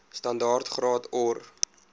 standaard graad or